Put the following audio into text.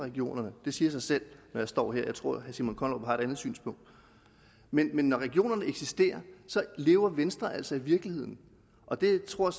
regionerne det siger sig selv når jeg står her jeg tror at herre simon kollerup har et andet synspunkt men men når regionerne eksisterer lever venstre altså i virkeligheden og det tror